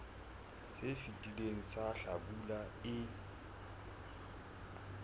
se fetileng sa hlabula e